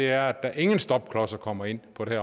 er at der ingen stopklodser kommer ind på det